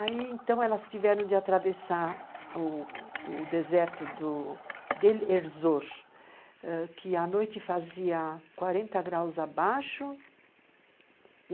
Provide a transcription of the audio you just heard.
Aí, então, elas tiveram de atravessar o o deserto de Erzur, que à noite fazia 40 graus abaixo.